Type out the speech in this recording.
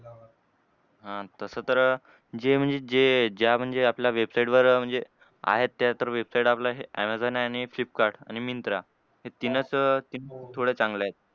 हां तसं तर जे म्हणजे जे ज्या म्हणजे आपल्या website वर म्हणजे आहेत त्या तर website आपल्या हे ऍमेझॉन आणि फ्लिपकार्ट आणि मिन्त्रा. हे तीनच तीन थोडे चांगले आहेत.